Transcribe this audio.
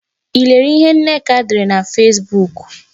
I lere ihe Nneka dere na Fesbuk?